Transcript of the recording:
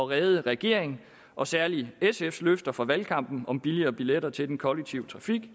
redde regeringens og særlig sfs løfter fra valgkampen om billigere billetter til den kollektive trafik i